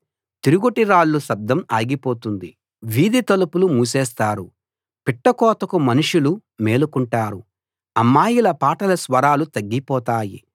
తిరుగటిరాళ్ల శబ్దం ఆగిపోతుంది వీధి తలుపులు మూసేస్తారు పిట్ట కూతకు మనుషులు మేలుకుంటారు అమ్మాయిల పాటల స్వరాలు తగ్గిపోతాయి